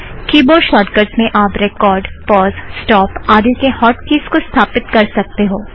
की board shortcuts में आप रेकॉर्ड़ पॉज़ स्टोप आदि के हॉट कीज़ को स्थापित कर सकते हो